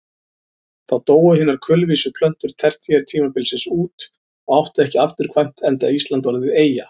Þá dóu hinar kulvísu plöntur tertíertímabilsins út og áttu ekki afturkvæmt enda Ísland orðið eyja.